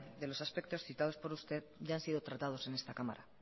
de los aspectos citados por usted ya han sido tratados en esta cámara